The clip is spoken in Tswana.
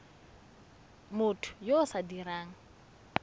motho yo o sa dirang